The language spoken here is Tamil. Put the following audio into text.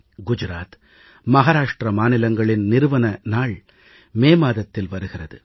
குஜராத் மகாராஷ்டிர மாநிலங்களின் நிறுவன நாள் மே மாதத்தில் வருகிறது